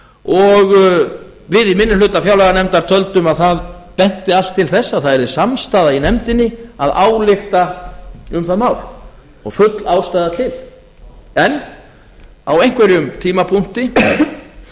og við í minni hluta fjárlaganefndar töldum að það benti allt til þess að það yrði samstaða í nefndinni að álykta um það mál og full ástæða til en á einhverjum tímapunkti varð